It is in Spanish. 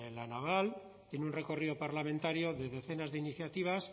la naval tiene un recorrido parlamentario de decenas de iniciativas